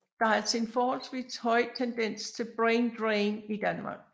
Der er altså en forholdvis høj tendens til brain drain i Danmark